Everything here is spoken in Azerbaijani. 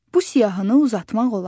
Bu siyahını uzatmaq olar.